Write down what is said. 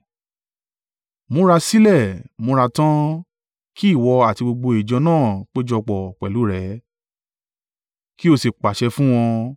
“ ‘Múra sílẹ̀, múra tán, kí ìwọ àti gbogbo ìjọ náà péjọpọ̀ pẹ̀lú rẹ, kí o sì pàṣẹ fún wọn.